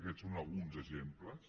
aquests en són alguns exemples